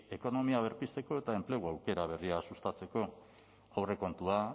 ekonomia berpizteko eta enplegu aukera berriak sustatzeko aurrekontua